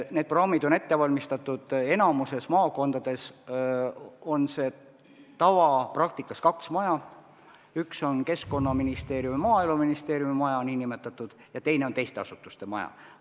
Need programmid on ette valmistatud, enamikus maakondades on kaks maja, üks on nn Keskkonnaministeeriumi ja Maaeluministeeriumi maja ja teine on teiste asutuste maja.